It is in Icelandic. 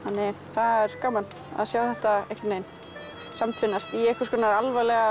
það er gaman að sjá þetta samtvinnast í einhvers konar alvarlega